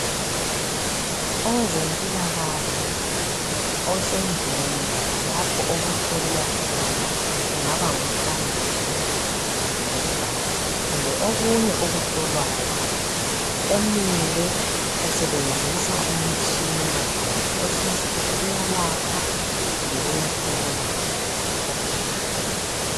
Owezempilakahle osendlini lapho okuhlolelwa khona kungaba ngumthambiso kumbe igazi kumbe okunye okuhlolwayo umile usebenzisa umtshina kwesinyiskhathi uyalapha kumbe uyahlola ogulayo.